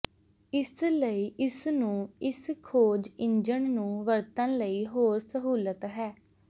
ਇਸ ਲਈ ਇਸ ਨੂੰ ਇਸ ਖੋਜ ਇੰਜਣ ਨੂੰ ਵਰਤਣ ਲਈ ਹੋਰ ਸਹੂਲਤ ਹੈ